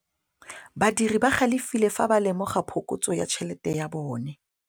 Badiri ba galefile fa ba lemoga phokotsô ya tšhelête ya bone.